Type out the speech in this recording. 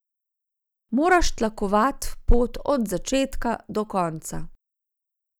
Moraš tlakovat pot od začetka do konca.